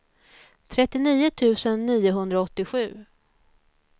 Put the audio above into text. trettionio tusen niohundraåttiosju